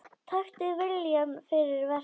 Taktu viljann fyrir verkið.